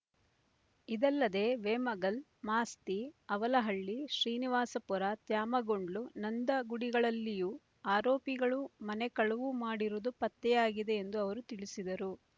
ಇದಲ್ಲದೆ ವೇಮಗಲ್ ಮಾಸ್ತಿ ಅವಲಹಳ್ಳಿ ಶ್ರೀನಿವಾಸಪುರ ತ್ಯಾಮಗೊಂಡ್ಲು ನಂದಗುಡಿಗಳಲ್ಲಿಯೂ ಆರೋಪಿಗಳು ಮನೆ ಕಳವು ಮಾಡಿರುವುದು ಪತ್ತೆಯಾಗಿದೆ ಎಂದು ಅವರು ತಿಳಿಸಿದರು